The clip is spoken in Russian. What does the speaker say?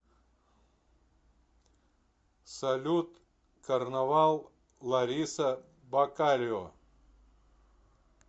салют карнавал лариса бакарио